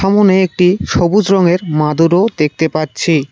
সামোনে একটি সবুজ রঙের মাদুরও দেখতে পাচ্ছি।